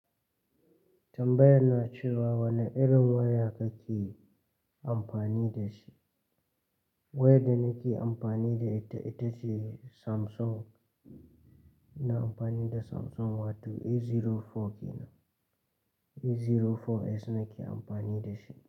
Tambaya na cewa wane irin waya kake amfani da shi? Waya da nake amfani da ita, ita ce Samsung. Na amfani da Samsung Wato A04 kenan A04S ne nake amfani da shi.